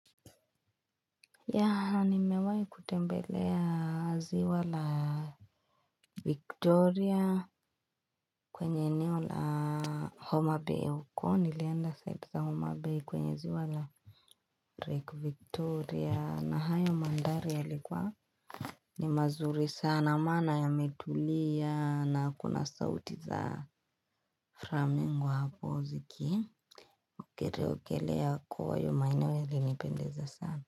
Yaa nimewai kutembea ziwa la victoria kwenye eneo la homa bay uko nilienda pande za homa bay kwenye ziwa la victoria na hayo manthari yalikuwa ni mazuri sana maana yametulia na hakuna sauti za flamingo hapo ziki ukereo kelea kwa hayo maeneo yalinipendeza sana.